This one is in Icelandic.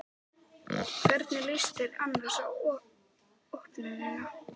Jóhanna Margrét Gísladóttir: Hvernig líst þér annars á opnunina?